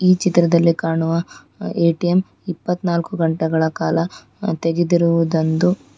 ಈ ಚಿತ್ರದಲ್ಲಿ ಕಾಣುವ ಎ_ಟಿ_ಎಮ್ ಇಪ್ಪತ್ನಾಲ್ಕು ಗಂಟೆಗಳ ಕಾಲ ಅ ತೆಗೆದಿರುವುದಂದು--